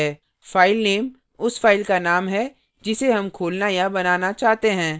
file उस file का name है जिसे हम खोलना या बनाना चाहते हैं